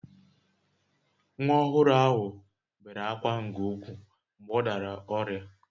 Nwa ọhụrụ ahụ bere ákwá nke ukwuu mgbe ọ dara ọrịa